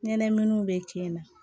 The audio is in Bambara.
Ɲɛnɛmaminiw bɛ kɛ na